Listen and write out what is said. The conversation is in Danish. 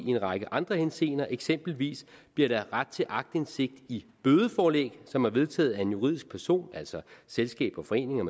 i en række andre henseender eksempelvis bliver der ret til aktindsigt i bødeforlæg som er vedtaget af en juridisk person altså selskaber foreninger